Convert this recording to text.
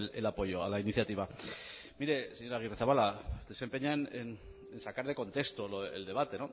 el apoyo a la iniciativa mire señor agirrezabala usted se empeña en sacar de contexto el debate